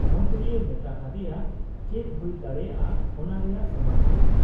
ᱢᱚᱱᱛᱨᱤᱭᱮ ᱢᱮᱛᱟ ᱦᱟᱫᱮᱭᱟ ᱪᱮᱫ ᱦᱩᱭ ᱫᱟᱲᱮᱭᱟᱜ ᱟ ᱚᱱᱟ ᱨᱮᱭᱟᱜ ᱥᱚᱢᱟᱫᱷᱟᱱ ?